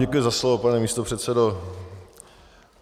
Děkuji za slovo, pane místopředsedo.